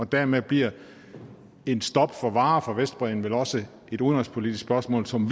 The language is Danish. dermed bliver et stop for varer fra vestbredden vel også et udenrigspolitisk spørgsmål som